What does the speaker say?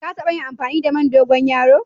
Ka tabba amfani da man dogoyaro?